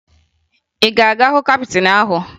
Ị ga-aga hụ kaptịn ahụ?